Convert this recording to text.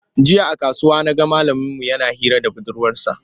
Jiya a kasuwa na ga malaminmu yana hira da budurwarsa.